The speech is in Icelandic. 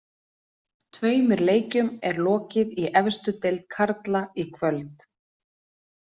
Tveimur leikjum er lokið í efstu deild karla í kvöld.